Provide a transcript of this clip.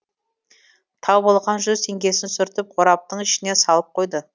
тауып алған жүз теңгесін сүртіп қораптың ішіне салып қойды